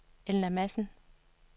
Elna Madsen